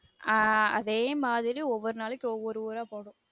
ஆஹ் அதே மாதிரி ஒவ்வொரு நாளைக்கு ஒவ்வொரு ஊரா போகனும்